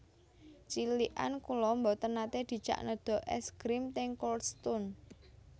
Cilikan kula mboten nate dijak nedha es grim teng Cold Stone